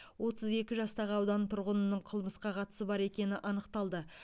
отыз екі жастағы аудан тұрғынының қылмысқа қатысы бар екені анықталды